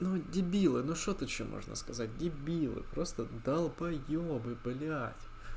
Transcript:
ну вот дебилы ну что тут ещё можно сказать дебилы просто долбоебы блять